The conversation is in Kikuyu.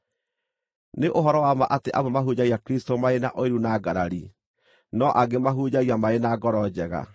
Nĩ ũhoro wa ma atĩ amwe mahunjagia Kristũ marĩ na ũiru na ngarari, no angĩ mahunjagia marĩ na ngoro njega.